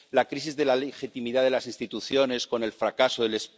la crisis de la legitimidad de las instituciones con el fracaso del